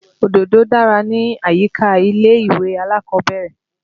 Òdòdó dára ni àyíká ilé-ìwé alákọ̀ọ́bẹ́rẹ́.